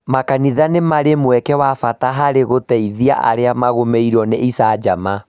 Makanitha nĩ marĩ mweke wa bata harĩ gũteithia arĩa magũmĩirũo nĩ icanjama.